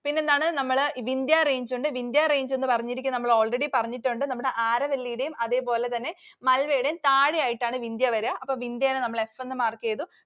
പിന്നെ എന്താണ്? നമ്മൾ Vindya Range ഉണ്ട് Vindya Range എന്ന് പറഞ്ഞിരിക്കുന്നത്, നമ്മൾ already പറഞ്ഞിട്ടുണ്ട് നമ്മടെ Aravalli യുടെയും അതേപോലെതന്നെ Malwa യുടെയും താഴെയായിട്ടാണ് Vindya വരുക. അപ്പോൾ Vindya നെ നമ്മൾ S എന്ന് mark ചെയ്തു.